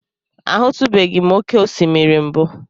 Ahụtụbeghị m oké osimiri mbụ.